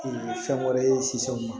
fɛn wɛrɛ ye sisan mun ma